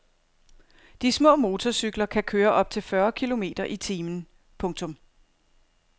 De små motorcykler kan køre op til fyrre kilometer i timen. punktum